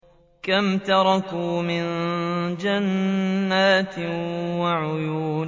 كَمْ تَرَكُوا مِن جَنَّاتٍ وَعُيُونٍ